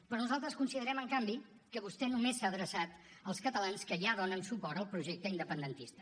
però nosaltres considerem en canvi que vostè només s’ha adreçat als catalans que ja donen suport al projecte independentista